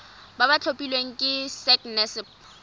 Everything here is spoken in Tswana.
ba ba tlhophilweng ke sacnasp